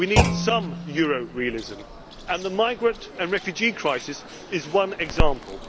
realism. We need some euro realism and the migrant and refugee crisis is one